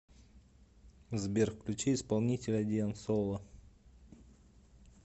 сбер включи исполнителя диан соло